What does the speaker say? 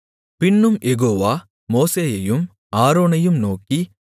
பின்னும் யெகோவா மோசேயையும் ஆரோனையும் நோக்கி